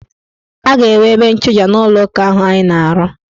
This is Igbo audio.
A ga-enwe ebe nchụja n' ụlọụka ahụ anyị na-arụ.